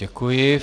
Děkuji.